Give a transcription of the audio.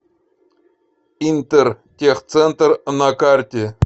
интертехцентр на карте